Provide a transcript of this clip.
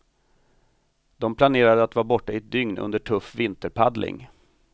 De planerade att vara borta i ett dygn under tuff vinterpaddling.